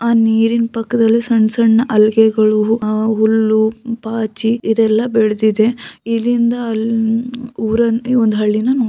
ಆ ನೀರಿನ್ ಪಕ್ಕದಲ್ಲಿ ಸಣ್ಣ್ ಸಣ್ಣ್ ಹಲ್ಗೆಗಳು ಅಹ್ ಹುಲ್ಲು ಪಾಚಿ ಇದೆಲ್ಲ ಬೆಳ್ದಿದೆ ಇಲ್ಲಿಂದ ಅಲ್ ಉಹ್ ಊರಲ್ಲಿ ಒಂದು ಒಂದ್ ಹಳ್ಳಿನ ನೋಡ್ .